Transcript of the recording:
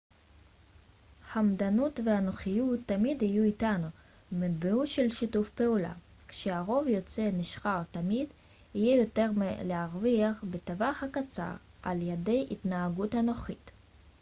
חמדנות ואנוכיות תמיד יהיו איתנו ומטבעו של שיתוף פעולה כשהרוב יוצא נשכר תמיד יהיה יותר מה להרוויח בטווח הקצר על ידי התנהגות אנוכית